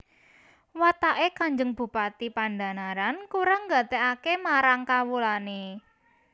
Wataké Kanjeng Bupati Pandhanaran kurang nggatékaké marang kawulané